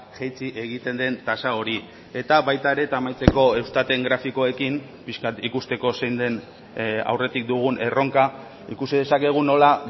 jaitsi egiten den tasa hori eta baita ere eta amaitzeko eustaten grafikoekin pixka bat ikusteko zein den aurretik dugun erronka ikusi dezakegu nola